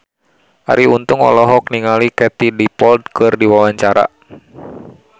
Arie Untung olohok ningali Katie Dippold keur diwawancara